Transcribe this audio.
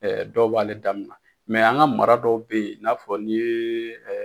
Ɛ dɔw b'ale damina, an ka mara dɔw bɛ yen i n'a fɔ n ye